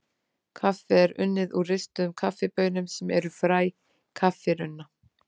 Kaffi er unnið úr ristuðum kaffibaunum sem eru fræ kaffirunna.